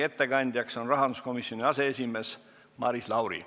Ettekandja on rahanduskomisjoni aseesimees Maris Lauri.